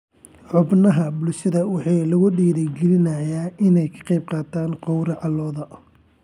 Xubnaha bulshada waxaa lagu dhiirigelinayaa inay ka qaybqaataan gowraca lo'da.